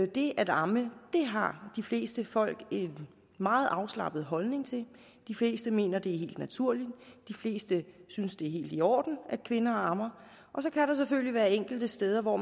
det at amme har de fleste folk en meget afslappet holdning til de fleste mener det er helt naturligt de fleste synes det er helt i orden at kvinder ammer og så kan der selvfølgelig være enkelte steder hvor